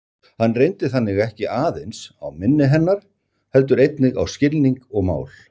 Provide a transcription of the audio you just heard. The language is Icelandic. Hann reyndi þannig ekki aðeins á minni hennar heldur einnig á skilning og mál.